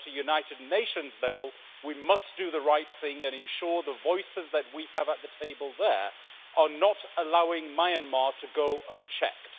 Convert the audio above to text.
So, at United Nations level, we must do the right thing and ensure that the voices we have at the table there are not allowing Myanmar to go unchecked.